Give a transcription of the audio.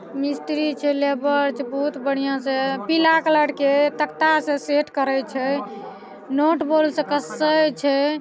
मिस्त्री छै लेबर छै बहुत बढ़िया से पीला कलर के तख्ता से सेट करे छै नट बोल्ट से कसे छै।